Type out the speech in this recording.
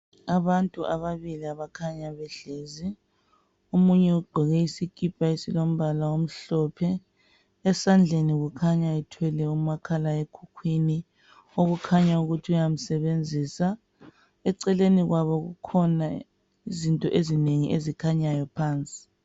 Abantu ababili abakhanya behlezi omunye ugqoke isikhipha ezilombala omhlophe esandleni kukhanya ethwele umakhala ekhukhwini okukhanya ukuthi uyamsebenzisa eceleni kwabo kukhona izinto ezinengi ezikhanyayo phansi.